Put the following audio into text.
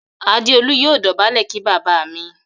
Adeolu yóò dobale kí bàbá mí.